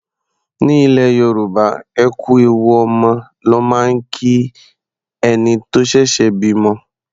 Ní ilẹ̀ Yorùbá, ẹ kú ewu ọmọ ló máa ń kí ẹni tó ṣẹ̀ṣẹ̀ bímọ.